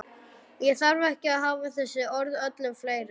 Ég þarf ekki að hafa þessi orð öllu fleiri.